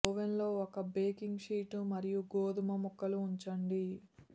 ఓవెన్లో ఒక baking sheet మరియు గోధుమ ముక్కలు ఉంచండి